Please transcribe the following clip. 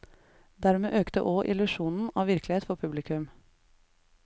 Dermed økte òg illusjonen av virkelighet for publikum.